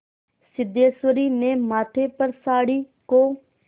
सिद्धेश्वरी ने माथे पर साड़ी को